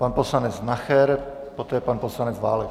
Pan poslanec Nacher, poté pan poslanec Válek.